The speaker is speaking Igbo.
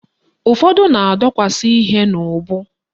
Ụfọdụ na-edokwasi ihe n'ubu